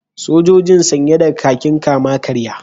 Sojojin sanye da kakin kama-karya